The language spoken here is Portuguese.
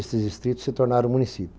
Esses distritos se tornaram